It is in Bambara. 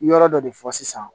Yɔrɔ dɔ de fɔ sisan